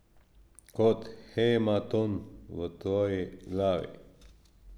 Kot hematom v tvoji glavi.